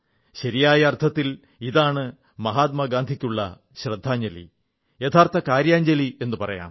ശരിയായ അർഥത്തിൽ ഇതാണ് മഹാത്മാഗാന്ധിക്കുള്ള ശ്രദ്ധാഞ്ജലി യഥാർഥ കാര്യാഞ്ജലി എന്നു പറയാം